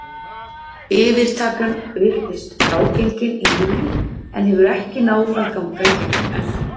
Yfirtakan virtist frágengin í júlí en hefur ekki náð að ganga í gegn ennþá.